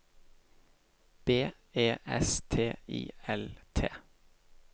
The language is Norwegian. B E S T I L T